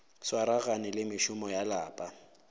swaragane le mešomo ya lapa